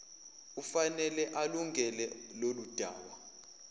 ufanele alungene loludaba